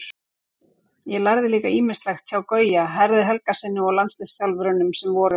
Ég lærði líka ýmislegt hjá Gauja, Herði Helgasyni og landsliðsþjálfurunum sem voru.